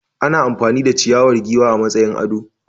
Ana amfani da ciyawar giwa a matsayin ado.